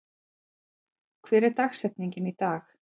, hver er dagsetningin í dag?